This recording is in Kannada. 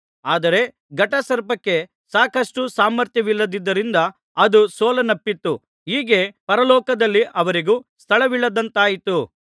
ಆದರೆ ಘಟಸರ್ಪಕ್ಕೆ ಸಾಕಷ್ಟು ಸಾಮರ್ಥ್ಯವಿಲ್ಲದ್ದರಿಂದ ಅದು ಸೋಲನ್ನಪ್ಪಿತು ಹೀಗೆ ಪರಲೋಕದಲ್ಲಿ ಅವರಿಗೂ ಸ್ಥಳವಿಲ್ಲದಂತಾಯಿತು